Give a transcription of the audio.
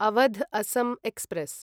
Awadh Assam express